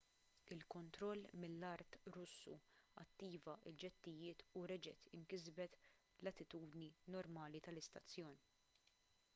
il-kontroll mill-art russu attiva l-ġettijiet u reġgħet inkisbet l-attitudni normali tal-istazzjon